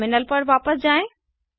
terminal पर वापस जाएँ